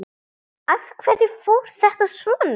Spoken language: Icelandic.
Af hverju fór þetta svona?